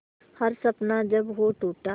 हर सपना जब वो टूटा